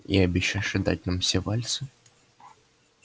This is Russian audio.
и обещаешь отдать нам все вальсы